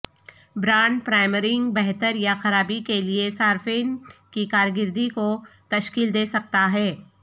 brand پرائمرینگ بہتر یا خرابی کے لئے صارفین کی کارکردگی کو تشکیل دے سکتا ہے